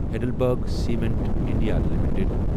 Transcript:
Heidelberg cement India limited